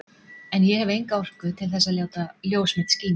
En ég hef enga orku til þess að láta ljós mitt skína.